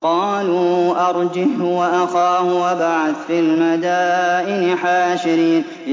قَالُوا أَرْجِهْ وَأَخَاهُ وَابْعَثْ فِي الْمَدَائِنِ حَاشِرِينَ